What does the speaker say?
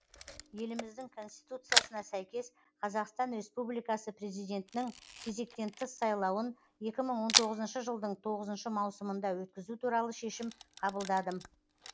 еліміздің конституциясына сәйкес қазақстан республикасы президентінің кезектен тыс сайлауын екі мың он тоғызыншы жылдың тоғызыншы маусымында өткізу туралы шешім қабылдадым